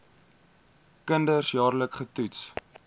kinders jaarliks getoets